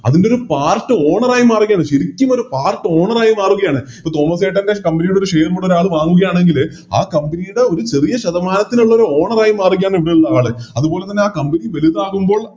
അതിൻറെയൊരു Part owner ആയി മാറുകയാണ് ശെരിക്കും ഒരു Part owner ആയി മാറുകയാണ് ഇപ്പൊ തോമസ്സേട്ടൻറെ Company യുടെ Share കുടെ വാങ്ങുകയാണെങ്കില് ആ Company ഒരു ചെറിയ ശതമാനത്തിനുള്ളോരു Owner ആയി മാറുകയാണ് ഉള്ള ആള് അതുപോലെതന്നെ Company വെലുതാകുമ്പോൾ